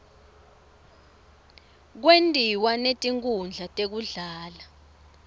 kwentiwa netinkhundla tekudlala